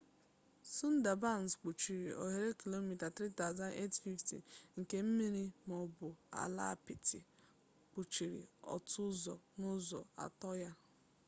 sundabans kpuchiri ohere km² 3850 nke mmiri maọbụ ala apịtị kpuchiri otu ụzọ n'ụzọ atọ ya